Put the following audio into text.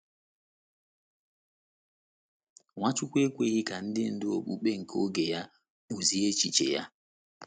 Nwachukwu ekweghị ka ndị ndú okpukpe nke oge ya kpụzie echiche ya.